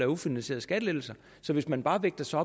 ufinansierede skattelettelser så hvis man bare vægter sig